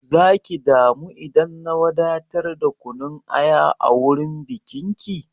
Zaki damu idan na wadatar da kunun aya a wurin bikin ki?